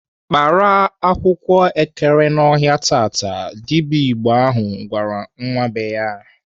"Kpara akwụkwọ ekere n'ọhịa taa!" Dibịa Igbo ahụ gwara nwa be ya.